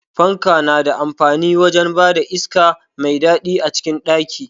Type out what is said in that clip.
Fanka na da amfani wajen bada iska mai daɗi a cikin ɗaki.